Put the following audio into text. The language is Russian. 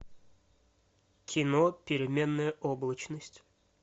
кино переменная облачность